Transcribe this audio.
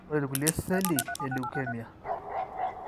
Ore ilkulie seli eleukemia